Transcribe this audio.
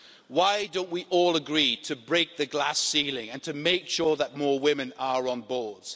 Why don't we all agree to break the glass ceiling and to make sure that more women are on boards?